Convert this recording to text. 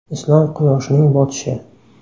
Islom quyoshining botishi.